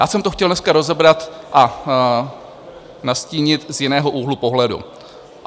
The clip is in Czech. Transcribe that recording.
Já jsem to chtěl dneska rozebrat a nastínit z jiného úhlu pohledu.